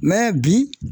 bi